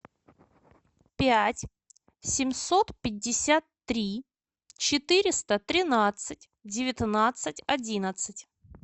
пять семьсот пятьдесят три четыреста тринадцать девятнадцать одиннадцать